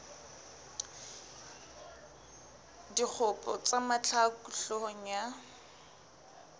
dikgopo tsa mahlaku hloohong ya